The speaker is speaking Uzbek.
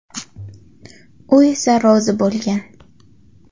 U esa rozi bo‘lgan.